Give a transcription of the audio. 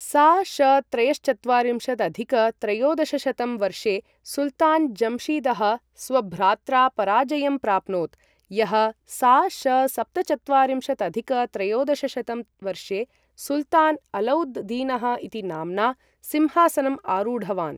सा.श. त्रयश्चत्वारिंशदधिक त्रयोदशशतं वर्षे सुल्तान् जम्शीदः स्वभ्रात्रा पराजयं प्राप्नोत्, यः सा.श. सप्तचत्वारिंशदधिक त्रयोदशशतं वर्षे सुल्तान् अलौद् दीनः इति नाम्ना सिंहासनम् आरूढवान्।